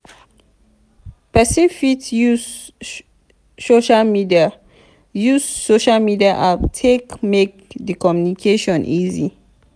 person fit use social media use social media app take make di communication easy